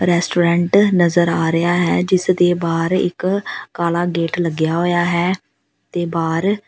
restaurant ਨਜ਼ਰ ਆ ਰਿਹਾ ਹੈ ਜਿਸ ਦੇ ਬਾਹਰ ਇੱਕ ਕਾਲਾ ਗੇਟ ਲੱਗਿਆ ਹੋਇਆ ਹੈ ਤੇ ਬਾਹਰ --